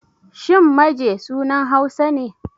Shin Maje sunan Hausa ne?